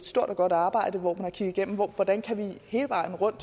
stort og godt arbejde hvor man har kigget på hvordan vi hele vejen rundt